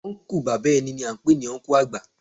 Ọnkú bàbá ẹni ni à ń pè ní Ọnkú àgbà